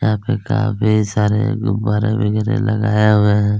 यहाँ पे काफी सारे गुब्बारा वगैरह लगाया हुआ है।